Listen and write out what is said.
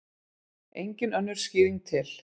Engin önnur skýring til.